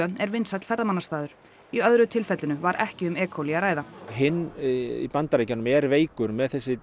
er vinsæll ferðamannastaður í öðru tilfellinu var ekki um e coli að ræða hinn í Bandaríkjunum sem er veikur með þessi